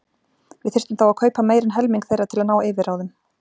Við þyrftum þá að kaupa meira en helming þeirra til að ná yfirráðum.